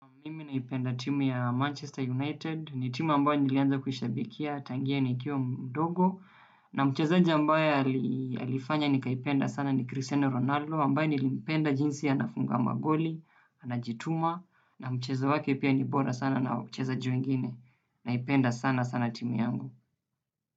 Mimi naipenda timu ya Manchester United, ni timu ambayo nilianza kuishabikia, tangia ni kiwa mdogo, na mchezeja ambaye alifanya nikaipenda sana ni Cristiano Ronaldo, ambaye nilimpenda jinsi anafunga magoli, anajituma, na mchezo wake pia ni bora sana na wachezaji wengine, naipenda sana sana timu yangu.